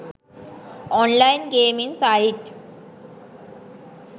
online gaming site